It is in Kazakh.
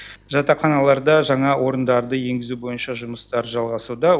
жатақханаларда жаңа орындарды енгізу бойынша жұмыстар жалғасуда